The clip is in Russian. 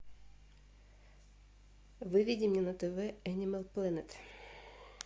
выведи мне на тв энимал плэнет